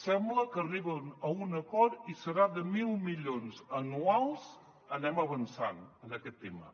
sembla que arriben a un acord i serà de mil milions anuals anem avançant en aquest tema